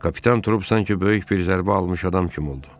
Kapitan Trup sanki böyük bir zərbə almış adam kimi oldu.